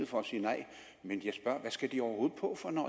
for at sige nej men jeg spørger hvad skal de overhovedet på for når